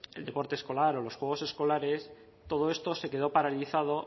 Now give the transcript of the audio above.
el deporte escolar o los juegos escolares todo esto se quedó paralizado